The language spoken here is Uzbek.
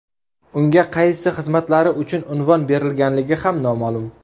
Unga qaysi xizmatlari uchun unvon berilganligi ham noma’lum.